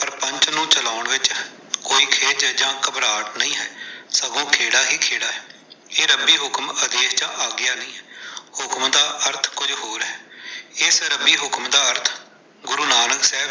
ਪਰ ਪੰਥ ਨੂੰ ਚਲਾਉਣ ਵਿੱਚ ਕੋਈ ਖਿੱਝ ਜਾਂ ਘਬਰਾਟ ਨਹੀਂ ਹੈ, ਸਗੋਂ ਖੇੜਾ ਹੀ ਖੇੜਾ ਹੈ। ਇਹ ਰੱਬੀ ਹੁਕਮ ਆਦੇਸ਼ ਜਾਂ ਆਗਿਆ ਨਹੀਂ ਹੈ। ਹੁਕਮ ਦਾ ਅਰਥ ਕੁਝ ਹੋਰ ਹੈ। ਏਸ ਰੱਬੀ ਹੁਕਮ ਦਾ ਅਰਥ ਗੁਰੂ ਨਾਨਕ ਸਾਹਿਬ।